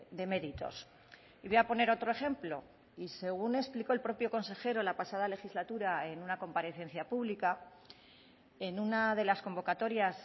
de méritos y voy a poner otro ejemplo y según explicó el propio consejero la pasada legislatura en una comparecencia pública en una de las convocatorias